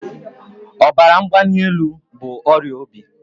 Ọbara mgbanelu bụ ọrịa obi